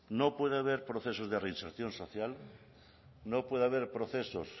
no puede haber procesos de reinserción social no puede haber procesos